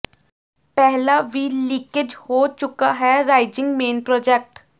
ਪਹਿਲਾਂ ਵੀ ਲੀਕੇਜ਼ ਹੋ ਚੁੱਕਾ ਹੈ ਰਾਈਜ਼ਿੰਗ ਮੇਨ ਪ੍ਰਰਾਜੈਕਟ